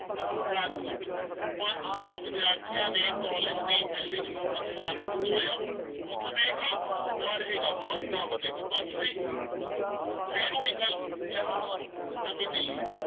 ਰਾਜਕੋਟ, ਪੰਜ ਸੌ ਵਿਦਿਆਰਥੀਆਂ ਨੇ college ਦੀ building ਨੂੰ ਨੁਕਸਾਨ ਪਹੁੰਚਾਇਆ, ਮਤਲਬ ਇਹ ਕਿ ਨਾ ਰਹੇਗਾ ਬਾਂਸ ਨਾ ਵੱਜੇਗੀ ਬੰਸਰੀ ਫੇਰ ਉਹੀ ਗੱਲ, ਲੈ ਹੋਰ ਸੁਣ ਨਵੀਂ ਦਿੱਲੀ,